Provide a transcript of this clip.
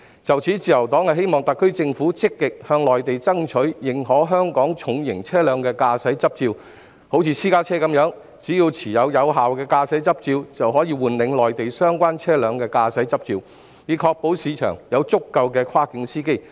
就此，自由黨希望特區政府積極向內地爭取，認可香港的重型車輛駕駛執照，好像私家車的情況一樣，只要持有有效的香港駕駛執照，便可換領內地相關車輛的駕駛執照，以確保市場上有足夠跨境司機。